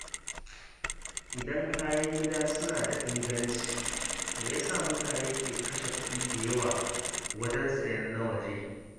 Idan kayan gida suna da inganci, me ya sa mutane ke kashe kuɗi da yawa wajen sayen na waje?